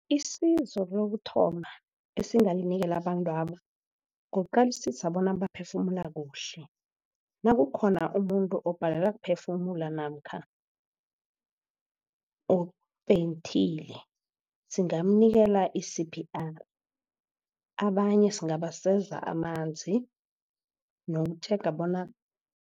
Isizo lokuthoma esingalinikela abantwaba kuqalisisa bona baphefumula kuhle. Nakukhona umuntu obhalelwa kuphefumula namkha ofenthile singamnikela i-C_P_R abanye singabaseza amanzi nokutjhega bona